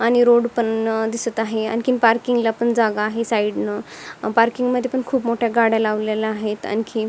आणि रोड पण अ दिसत आहे आणि पार्किंग ला पण जागा आहे साइड न पार्किंग मध्ये पण खूप मोठ्या गाड्या लावलेल्या आहेत आणखी.